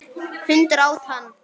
Hundur át hann.